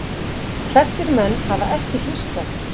Þessir menn hafa ekki hlustað.